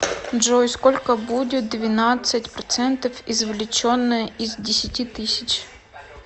джой сколько будет двенадцать процентов извлеченное из десяти тысяч